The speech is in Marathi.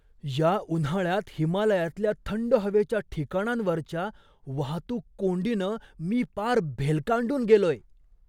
या उन्हाळ्यात हिमालयातल्या थंड हवेच्या ठिकाणांवरच्या वाहतूक कोंडीनं मी पार भेलकांडून गेलोय!